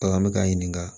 Bagan bɛ k'an ɲininka